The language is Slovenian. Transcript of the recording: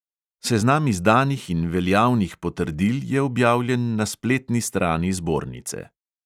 Seznam izdanih in veljavnih potrdil je objavljen na spletni strani zbornice.